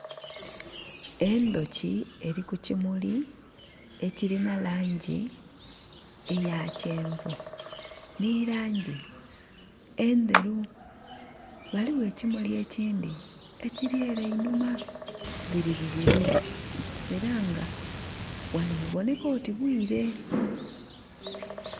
Endhoki eli ku kimuli ekilina langi eya kyenvu, ni langi endheru. Ghaligho ekimuli ekindhi ekiri ele einhuma. Bili bibili. Ela nga ghano ghaboneka oti bwire